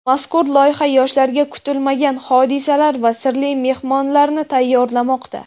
Mazkur loyiha yoshlarga kutilmagan hodisalar va sirli mehmonlarni tayyorlamoqda!.